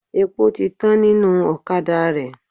Epo ti tán nínú ọ̀kadà rẹ.